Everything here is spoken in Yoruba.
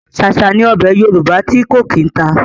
Ṣáṣá ni ọbẹ̀ Yorùbá ti ko kí n ta.